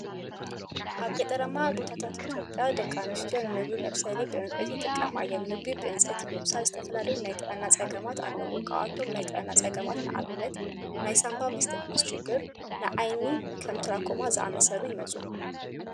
ኣብ ገጠራማ ቦታታት ኢትዮጵያ ደቂ ኣንስትዮ ንምግቢ መብሰሊ ብዕንፀይቲ ይጥቀማ እየን። ምግቢ ብዕንፀይቲ ምብሳይ ዝተፈላለዩ ናይ ጥዕና ፀገማት አለውዎ። ካብቶም ናይ ጥዕና ፀገማት ንኣብነት ናይ ሳንባ ምስትንፋስ ችግር፣ ናይ ዓይኒ ከም ትራኮማ ዝኣመሰሉ የምፅኡ።